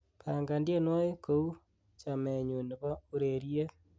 pangan teienywogik kou chamenyun nebo ureryet